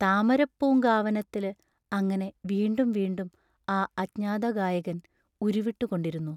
താമരപ്പൂങ്കാവനത്തില് അങ്ങനെ വീണ്ടും വീണ്ടും ആ അജ്ഞാതഗായകൻ ഉരുവിട്ടുകൊണ്ടിരുന്നു.